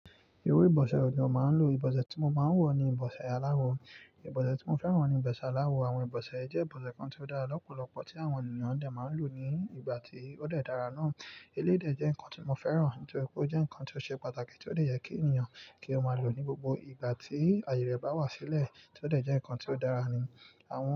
Ewé ìbọsẹ̀ wo lo màá ń lò. Ìbọsẹ̀ tí mo máa ń lọ̀ ni ìbọsẹ̀ aláwọ. Ìbọsẹ̀ tí mo fẹ́ràn ni ìbọsẹ̀ aláwọ. Àwọn ìbọsẹ̀ jẹ́ ìbọsẹ̀ kan tí ó dára lọ́pọ̀lọpọ̀ tí àwọn ènìyàn dẹ̀ máa ń lò ní ìgbà tí ó dẹ́ dara náà. Eléyi dẹ̀ jẹ́ nǹkan tí mo fẹ́ràn, nítorí pé ó jẹ́ nǹkan tí ó ṣe pàtàkì tí ó dẹ́ yẹ kí ènìyàn kí ó máa lò ní gbogbo ìgbà tí ayẹ rẹ bá wá sílẹ̀, tí ó dẹ̀ jẹ́ nǹkan tí ó dára ní àwọn.